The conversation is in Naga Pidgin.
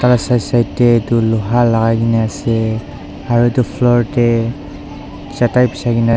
side side dar etu loha lagai kina asae aro etu floor dae chatai bijai na asae.